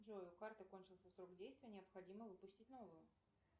джой у карты кончился срок действия необходимо выпустить новую